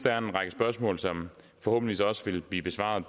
er en række spørgsmål som forhåbentlig vil blive besvaret